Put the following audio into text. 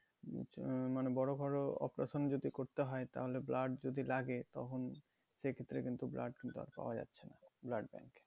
আহ মানে বড়ো ঘরো operation যদি করতে হয় তাহলে blood যদি লাগে তখন সেক্ষেত্রে কিন্তু blood কিন্তু আর পাওয়া যাচ্ছে না blood bank এ